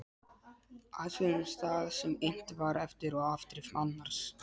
Athugum það sem innt var eftir og afdrif annars